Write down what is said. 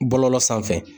Bɔlɔlɔ sanfɛ